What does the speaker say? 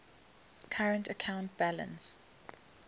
current account balance